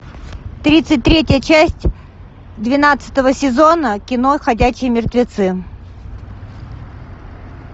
тридцать третья часть двенадцатого сезона кино ходячие мертвецы